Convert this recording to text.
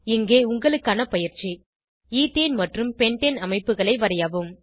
இங்கே உங்களுக்கான பயிற்சி ஈத்தேன் மற்றும் பென்டேன் அமைப்புகளை வரையவும்